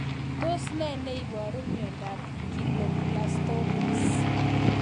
Tos nee neiparu miondop Glioblastomas